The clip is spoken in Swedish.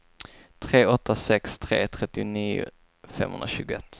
tre åtta sex tre trettionio femhundratjugoett